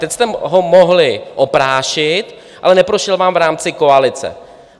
Teď jste ho mohli oprášit, ale neprošel vám v rámci koalice.